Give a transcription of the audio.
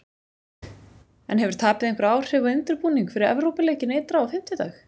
En hefur tapið einhver áhrif á undirbúning fyrir Evrópuleikinn ytra á fimmtudag?